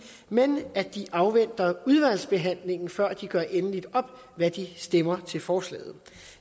men at de afventer udvalgsbehandlingen før de gør endeligt op hvad de stemmer til forslaget